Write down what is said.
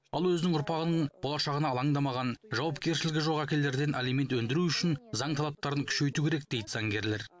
ал өзінің ұрпағының болашағына алаңдамаған жауапкершілігі жоқ әкелерден алимент өндіру үшін заң талаптарын күшейту керек дейді заңгерлер